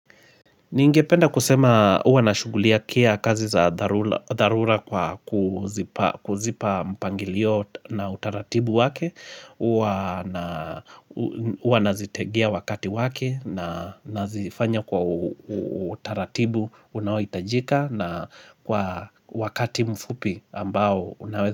Ningependa kusema huwa nashughulikia kazi za dharula kwa kuzipa mpangilio na utaratibu wake huwa nazitengea wakati wake na nazifanya kwa utaratibu unaohitajika na kwa wakati mfupi ambao unaweza.